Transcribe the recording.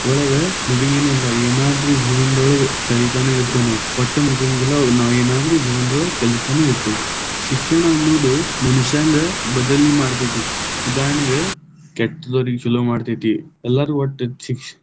ಒಳಗ ಮುಗೆಂಗೆನೇ ಇಲ್ಲ, ಏನಾದ್ರೂ ಜೀವನದೊಳಗೆ ಕಲಿತಾನ ಇರ್ತೀವಿ ನಾವ್, ಒಟ್ಟ ಮುಗೆಂಗಿಲ್ಲಾ ನಾವ್‌ ಏನಾದ್ರು ಜೀವನದೊಳಗ್‌ ಕಲಿತಾನೇ ಇತೇ೯ವಿ, ಶಿಕ್ಷಣ ಅನ್ನೋದ ಮನುಷ್ಯಂಗ ಬದಲಿ ಮಾಡ್ತೈತಿ, ಉದಾರಣೆಗ ಕೆಟ್ಟವರಿಗೆ ಚಲೋ ಮಾಡತೈತಿ, ಎಲ್ಲಾರು ಒಟ್ಟ.